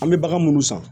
An bɛ bagan munnu san